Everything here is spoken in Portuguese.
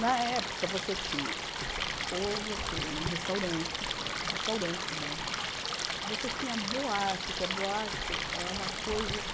Na época, você tinha... Ou você ia num restaurante né, que era um restaurante, como é um... Você tinha a boate, que a boate é uma coisa que...